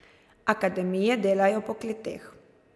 Akademije delajo po kleteh.